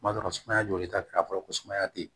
Kuma dɔ la sumaya joli ta fɔlɔ ko sumaya te yen